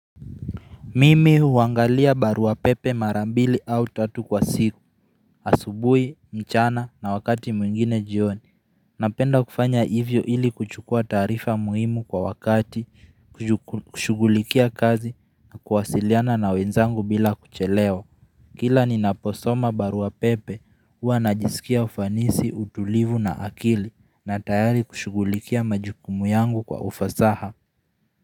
Mimi huangalia barua pepe mara mbili au tatu kwa siku, asubuhi, mchana na wakati mwingine jioni, napenda kufanya hivyo ili kuchukua taarifa muhimu kwa wakati, kushugulikia kazi na kuwasiliana na wenzangu bila kuchelewa Kila ninaposoma barua pepe, hua najisikia ufanisi, utulivu na akili, na tayari kushugulikia majukumu yangu kwa ufasaha.